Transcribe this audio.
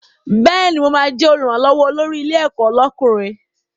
Bẹ́ẹ̀ni, mo ma jẹ́ Olùrànlọ́wọ́ olórí ilé ẹ̀kọ́ lọ́kùnrin